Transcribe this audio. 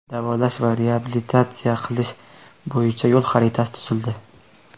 Davolash va reabilitatsiya qilish bo‘yicha yo‘l xaritasi tuzildi.